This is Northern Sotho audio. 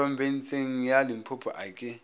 phorobentsheng ya limpopo a ke